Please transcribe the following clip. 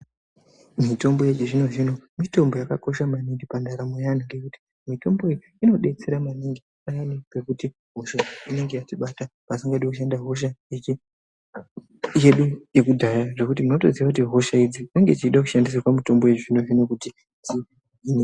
Mitombo yechizvino zvino mitombo yakakosha maningi pandaramo yevantu ngekuti mitombo iyi inodetsera maningi payani pekuti hosha inenge yatibata pasingadi kushanda hosha yedu yekudhaya zvekuti unotodziya kuti hosha idzi dzinenge dzichida kushandisirwa mitombo yechizvino zvino kuti dzihinike.